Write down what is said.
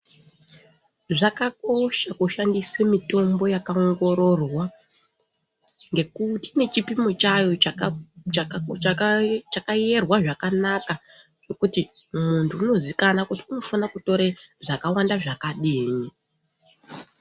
Zvakakosha kushandise mitombo yakaongororwa, ngekuti ine chipimo chayo ,Chaka Chaka chakayerwa zvakanaka chekuti kuti muntu unoziikanwa kuti unofana kuziikanwa kuti unotore zvakawanda zvakadini.